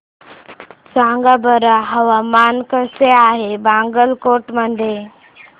सांगा बरं हवामान कसे आहे बागलकोट मध्ये